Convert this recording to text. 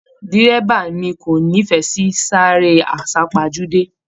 Dírẹ́bà mí ko n'ifẹ sí sisare asapajude